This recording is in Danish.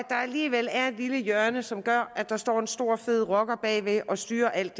alligevel er et lille hjørne som gør at der kan stå en stor fed rocker bagved og styre alt